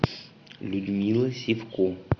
людмила сивко